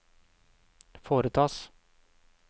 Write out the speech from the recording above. foretas